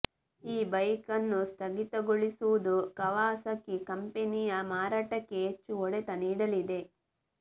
ಈ ಬೈಕ್ ಅನ್ನು ಸ್ಥಗಿತಗೊಳಿಸುವುದು ಕವಾಸಕಿ ಕಂಪನಿಯ ಮಾರಾಟಕ್ಕೆ ಹೆಚ್ಚು ಹೊಡೆತ ನೀಡಲಿದೆ